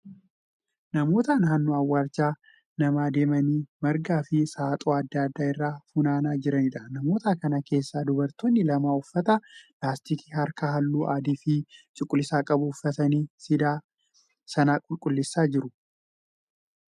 Namoota naannoo awwaalcha namaa deemanii margaa fi saaxoo adda addaa irraa funaanaa jiraniidha. Namoota kana keessaa dubartoonni lama uffata laastikii harkaa halluu adii fi cuquliisa qabu uffatanii siidaa sana qulqulleessaa jiru.